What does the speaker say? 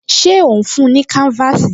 Ṣé ó ń fún-un ní káńfáàsì?